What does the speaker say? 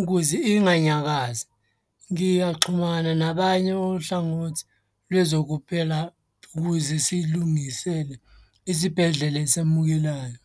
ukuze inganyakazi. Ngiyaxhumana nabanye ohlangothi lwezokuphela ukuze silungisele isibhedlela esamukelayo.